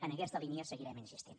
en aquesta línia seguirem insistint